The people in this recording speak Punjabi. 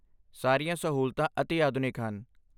ਸਾਰੀਆਂ ਸਹੂਲਤਾਂ ਅਤਿ ਆਧੁਨਿਕ ਹਨ